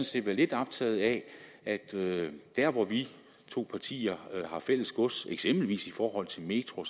set være lidt optaget af at der hvor vi to partier har fælles gods eksempelvis i forhold til metro